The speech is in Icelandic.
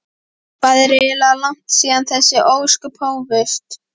Hvað er eiginlega langt síðan þessi ósköp hófust?